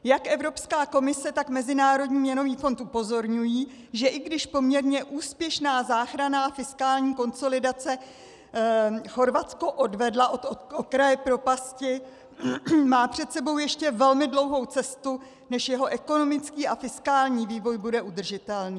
Jak Evropská komise, tak Mezinárodní měnový fond upozorňují, že i když poměrně úspěšná záchranná fiskální konsolidace Chorvatsko odvedla od okraje propasti, má před sebou ještě velmi dlouhou cestu, než jeho ekonomický a fiskální vývoj bude udržitelný.